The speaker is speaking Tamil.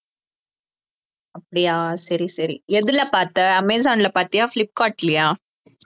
அப்படியா சரி சரி எதுல பாத்த அமேசான்ல பாத்தியா ஃபிளிப்கார்ட்லியா